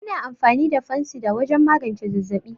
Ana amfani da Fansida wajan magance zazzaɓi